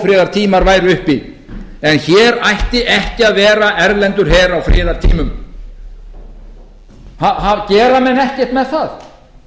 ófriðartímar væru uppi en hér ætti ekki að vera erlendur her á friðartímum gera menn ekkert með það